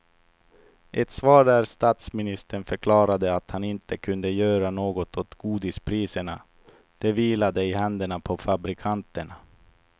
Ett svar där statsministern förklarade att han inte kunde göra något åt godispriserna, det vilade i händerna på fabrikanterna.